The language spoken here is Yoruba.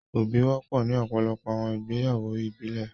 ́Óbì wọ̀pọ̀ ní ọpọlọpọ̀ awọn igbeyawo ìbílẹ̀